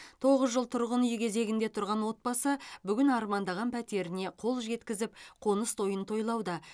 тоғыз жыл тұрғын үй кезегінде тұрған отбасы бүгін армандаған пәтеріне қол жеткізіп қоныс тойын тойлауда